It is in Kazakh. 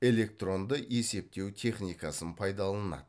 электронды есептеу техникасын пайдаланады